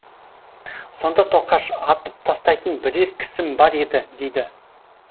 сонда тоқаш атып тастайтын бірер кісім бар еді дейді